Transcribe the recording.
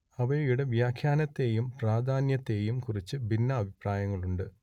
അവയുടെ വ്യാഖ്യാനത്തേയും പ്രാധാന്യത്തേയും കുറിച്ച് ഭിന്നാഭിപ്രായങ്ങളുണ്ട്